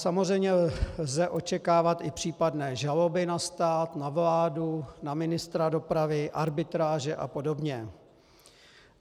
Samozřejmě lze očekávat i případné žaloby na stát, na vládu, na ministra dopravy, arbitráže a podobně.